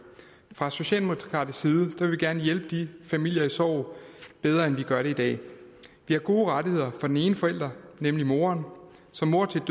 fra socialdemokratisk side vil vi gerne hjælpe de familier i sorg bedre end vi gør det i dag vi har gode rettigheder for den ene forælder nemlig moren som mor til